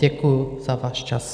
Děkuju za váš čas.